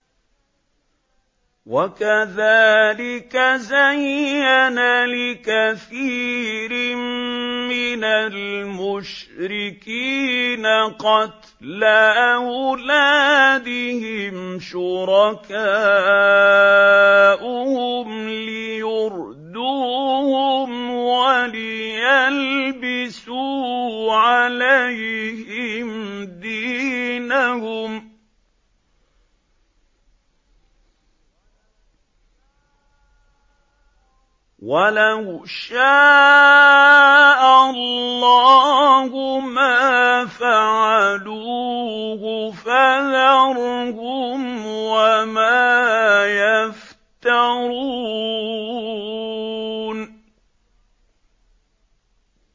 وَكَذَٰلِكَ زَيَّنَ لِكَثِيرٍ مِّنَ الْمُشْرِكِينَ قَتْلَ أَوْلَادِهِمْ شُرَكَاؤُهُمْ لِيُرْدُوهُمْ وَلِيَلْبِسُوا عَلَيْهِمْ دِينَهُمْ ۖ وَلَوْ شَاءَ اللَّهُ مَا فَعَلُوهُ ۖ فَذَرْهُمْ وَمَا يَفْتَرُونَ